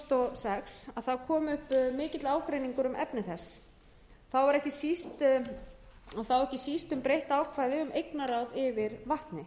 sex kom upp mikill ágreiningur um efni þess og þá ekki síst um breytt ákvæði um eignarráð fyrir vatni